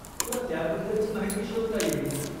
तुला त्याबद्दलची माहिती शोधता येईल.